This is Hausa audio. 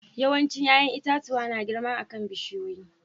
Yawancin yayan itatuwa na girma akan bishiyoyi.